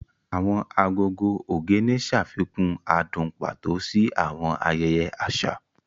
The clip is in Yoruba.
Awọn agogo Ogene ṣafikun adun pato si awọn ayẹyẹ aṣa.